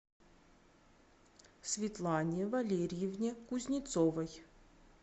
светлане валерьевне кузнецовой